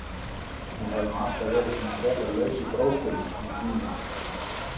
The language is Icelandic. Hún hefur nú alltaf verið svona frekar laus í brókunum hún Gína!